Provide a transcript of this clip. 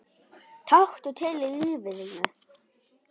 Taktu til í lífi þínu!